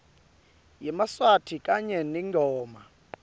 yemaswati kanye netingoma